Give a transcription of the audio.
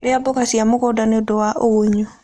Ria mmboga cia mugunda niundu wa ugunyu